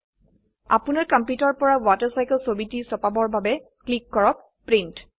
আপোনাৰ কম্পিউটাৰ পৰাWaterCycle ছবিটি ছপাবৰ বাবে ক্লিক কৰক প্ৰিন্ট